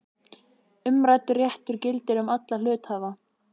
Umræddur réttur gildir um alla hluthafa.